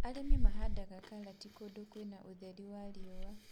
Arĩmi mahandaga karatĩ kũndũ kwĩna ũtheri wa riũa